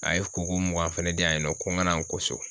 A ye ko ko mugan fɛnɛ di yan nɔ ko n ka na n ko so